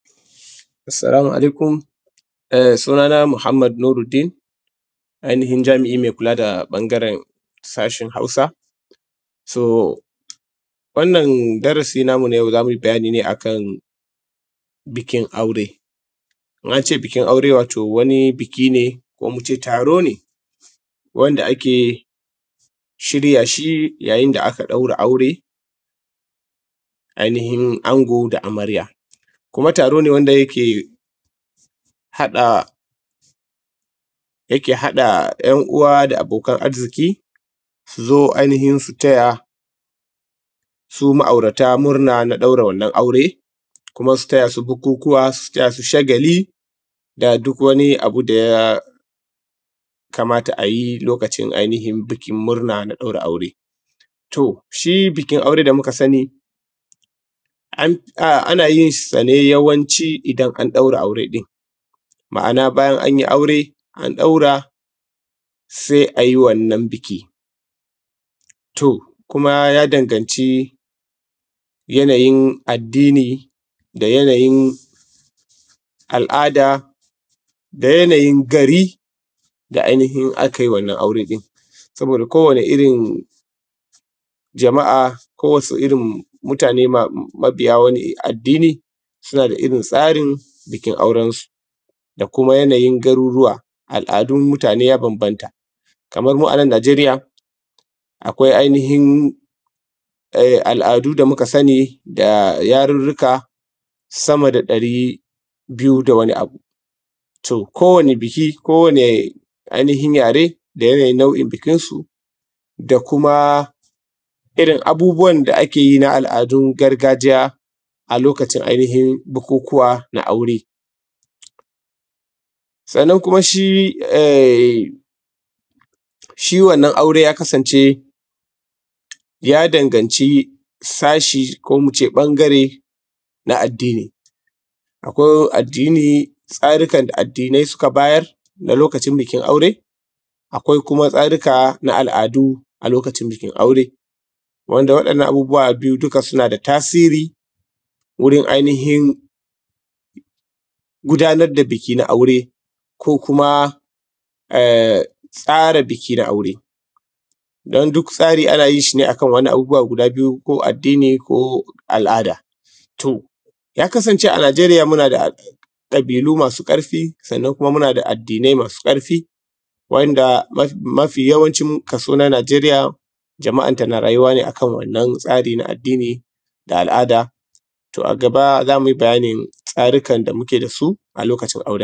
Assalamu alaikum. Sunana Muhammad Nuruddin, ainihin jami’i mai kula da ɓangaren sashen Hausa. So, wannan darasi namu na yau, za mu yi bayani ne a kan bukin aure. In an ce bukin aure wato wani buki ne ko mu ce taro ne wanda ake shirya shi yayin da aka ɗaura aure, ainihin ango da amrarya. Kuma taro ne wanda yake haɗa, yake haɗa ‘yan uwa da abokan arziki, su zo ainihin su taya su ma’aurata murna na ɗaura wannan aure, kuma su taya s u bukukuwa, su taya su shagali da duk wani abu da ya kamata a yi lokacin ainihin bukin murna na ɗaura aure. To shi bukin aure da muka sani, ana yin sa ne yawanci idan an ɗaure aure ɗin, ma’ana bayan an yi aure, ɗan ɗaura, sai a yi wannan buki. To kuma ya danganci yanayin addini da yanayin al’ada da yanayin gari da ainihin aka yi wannan aure ɗin, saboda kowane irin jama’a, ko wasu irin mutane mabiya wani addini, suna da irin tsarin bukin aurensu da kuma yanayin garuruwa, al’adun mutane ya bambanta. Kamar mu a nan Nigeria, akwai ainihin al’adu da muka sani, da yarurruka sama da ɗari biyu da wani abu. To kowane buki, kowane ainihin yare, da yanayin nau’in bukinsu da kuma irin abubuwan da ake yi na al’adu gargajiya, a lokacin ainihin bukukuwa na aure. Sannan kuma shi… shi wannan aure ya kasance, ya danganci sashi ko mu ce ɓangare na addini. Akwai addini, tsarukan da addinai suka bayar na lokacin bukin aure, akwai kuma tsaruka na al’adu a lokacin bukin aure, wanda waɗannan abubuwa biyu duka suna da tasiri, wurin ainihin gudanar da buki na aure ko kuma tsara buki na aure. Don duk tsari ana yin shi ne a kan waɗannan abubuwa guda biyu, ko addini ko al’ada. To ya kasance a Nigeria muna da ƙabilu masu ƙarfi sannan kuma muna da addinai masu ƙarfi waɗanda mafi yawancin kaso na Nigeria, jama’anta na rayuwa ne a kan wannan tsari na addini da al’ada. To a gaba, za mu yi bayanin tsarurrukan da muke da su a lokacin aure.